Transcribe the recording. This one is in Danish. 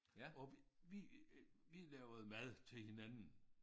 Og vi øh vi lavede mad til hinanden